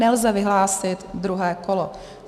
Nelze vyhlásit druhé kolo.